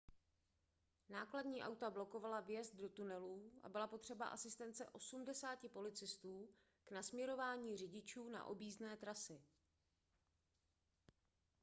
nákladní auta blokovala vjezd do tunelů a byla potřeba asistence 80 policistů k nasměrování řidičů na objízdné trasy